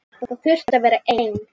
Þau þurfi að vera ein.